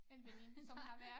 En veninde som har været